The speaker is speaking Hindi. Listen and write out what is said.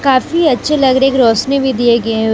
काफी अच्छे लग रही एक रोशनी भी दिए गए--